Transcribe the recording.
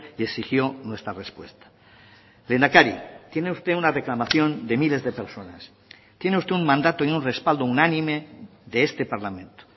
y exigió nuestra respuesta lehendakari tiene usted una reclamación de miles de personas tiene usted un mandato y un respaldo unánime de este parlamento